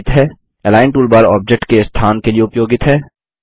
align toolbar object के स्थान के लिए उपयोगित है